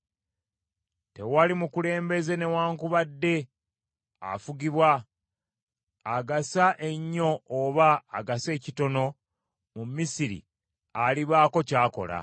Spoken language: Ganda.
Tewali mukulembeze newaakubadde afugibwa, agasa ennyo oba agasa ekitono mu Misiri alibaako ky’akola.